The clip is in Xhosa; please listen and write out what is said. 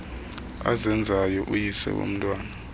azenzayo uyise womntwana